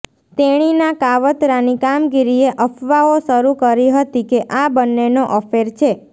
તેણીના કાવતરાની કામગીરીએ અફવાઓ શરૂ કરી હતી કે આ બંનેનો અફેર છે